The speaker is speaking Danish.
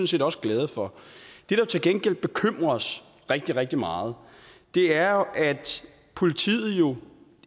set også glade for det der til gengæld bekymrer os rigtig rigtig meget er at politiet jo